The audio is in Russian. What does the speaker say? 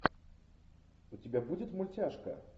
у тебя будет мультяшка